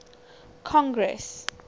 congress